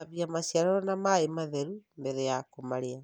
Gũthambia maciaro na maĩ matheru mbere ya kũmarĩa.